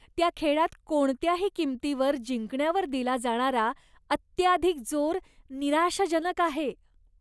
त्या खेळात कोणत्याही किंमतीवर जिंकण्यावर दिला जाणारा अत्याधिक जोर निराशाजनक आहे.